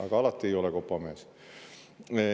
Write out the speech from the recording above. Aga alati ei ole kopamees.